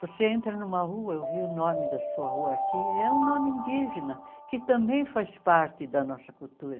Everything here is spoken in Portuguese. Você entra numa rua, eu vi o nome da sua rua aqui, é um nome indígena, que também faz parte da nossa cultura.